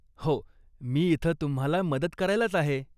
हो, मी इथं तुम्हाला मदत करायलाच आहे.